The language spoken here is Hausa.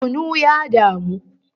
Kunu ya damu